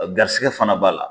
garisɛgɛ fana b'a la.